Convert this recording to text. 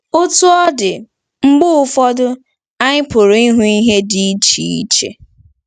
Otú ọ dị, mgbe ụfọdụ, anyị pụrụ ịhụ ihe dị iche.